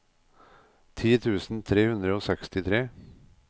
ti tusen tre hundre og sekstitre